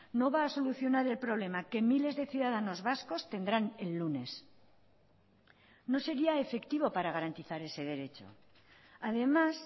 no va a solucionar el problema que miles de ciudadanos vascos tendrán el lunes no sería efectivo para garantizar ese derecho además